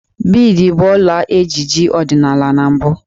Biidi bụ ọla ejiji ọdịnala na mbụ